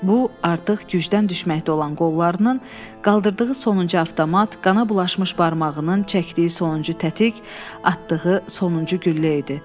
Bu, artıq gücdən düşməkdə olan qollarının qaldırdığı sonuncu avtomat, qana bulaşmış barmağının çəkdiyi sonuncu tətik, atdığı sonuncu güllə idi.